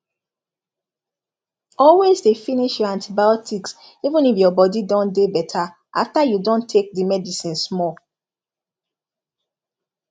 always dey finish your antibiotics even if your body don dey better after you don take di medicine small